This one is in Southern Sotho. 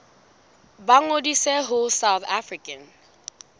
ba ngodise ho south african